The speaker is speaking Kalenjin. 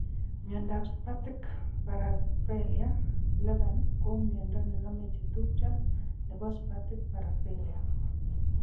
Miondap spastic paraplegia 11 kooo miondo nename chetupcho nebo spastic paraplegia